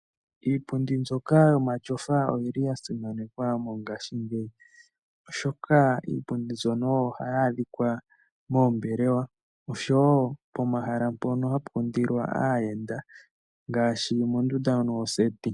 Iipundi mbyoka yomatyofa oyili ya simananekwa mongaashingeyi, oshoka iipundi mbyono oyo hayi adhika moombelewa noshowo pomahala mpono hapu kundilwa aayenda ngaashi mondunda ndjono yoseti.